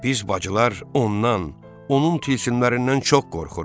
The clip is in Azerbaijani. Biz bacılar ondan, onun tilsimlərindən çox qorxuruq.